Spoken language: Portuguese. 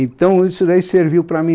Então, isso daí serviu para mim.